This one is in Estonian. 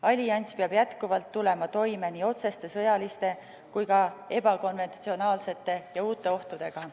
Allianss peab jätkuvalt tulema toime nii otseste sõjaliste kui ka ebakonventsionaalsete ja uute ohtudega.